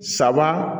Saba